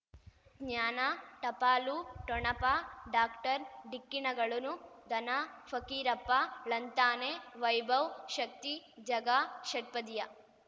ಜ್ಞಾನ ಟಪಾಲು ಠೊಣಪ ಡಾಕ್ಟರ್ ಢಿಕ್ಕಿ ಣಗಳನು ಧನ ಫಕೀರಪ್ಪ ಳಂತಾನೆ ವೈಭವ್ ಶಕ್ತಿ ಝಗಾ ಷಟ್ಪದಿಯ